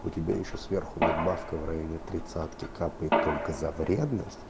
у тебя ещё сверху надбавка в районе тридцатки капает только за вредность